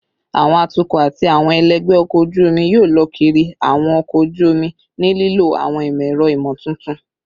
Awọn atukọ ati awọn ẹlẹgbẹ ọkọ oju omi yoo lọ kiri awọn ọkọ oju omi ni lilo awọn imọ-ẹrọ imotuntun